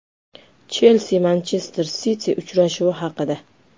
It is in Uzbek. “Chelsi”“Manchester Siti” uchrashuvi haqida.